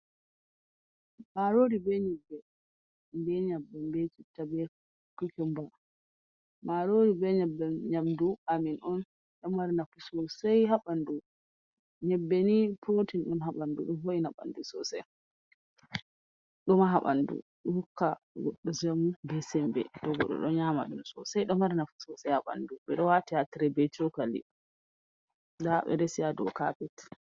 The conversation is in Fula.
Maaroori bee nyebbebbee citta bee kukumba, maaroori bee nyebbe nyamdu amin on dmr nyebbe nii prootin on haa ɓanndu ɗo wo'itina ɓanndu soosai ɗon maha ɓanndu ɗo yamɗina ɗo hokka goɗɗo semmbe soosai, ndaa ɓe do waati bee cookali.